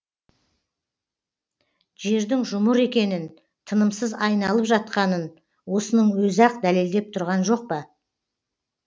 жердің жұмыр екенін тынымсыз айналып жатқанын осының өзі ақ дәлелдеп тұрған жоқ па